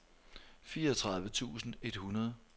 fireogtredive tusind et hundrede